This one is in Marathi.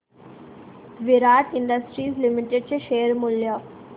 विराट इंडस्ट्रीज लिमिटेड चे शेअर मूल्य